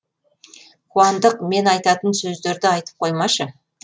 қуандық мен айтатын сөздерді айтып қоймашы